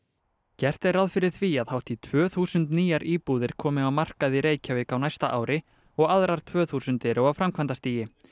gert er ráð fyrir því að hátt í tvö þúsund nýjar íbúðir komi á markað í Reykjavík á næsta ári og aðrar tvö þúsund eru á framkvæmdastigi